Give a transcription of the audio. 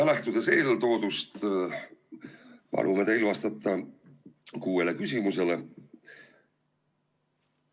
Lähtudes eeltoodust palume teil vastata kuuele küsimusele.